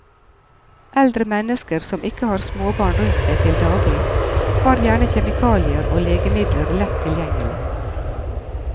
Eldre mennesker som ikke har småbarn rundt seg til daglig, har gjerne kjemikalier og legemidler lett tilgjengelig.